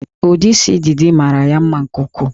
Ụdị isi Didi mara ya mma nke ukwuu